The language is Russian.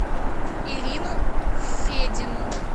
ирину федину